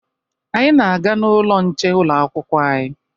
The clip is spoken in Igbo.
Anyị na-aga n'ụlọ nche ụlọakwụkwọ anyị